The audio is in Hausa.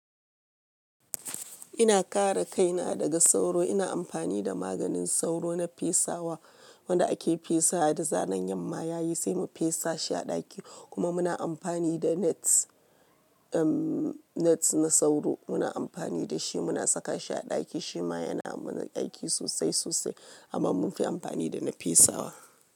Ina kare kaina daga sauro, ina amfani da maganin sauro na fesawa wanda ake fesawa da zaran yamma yayi sai mu fesa shi a ɗaki kuma muna amfani da nets, net na sauro muna amfani da shi muna saka ta a ɗaki shi ma yana mana aiki sosai sosai amma munfi amfani da na fesawa.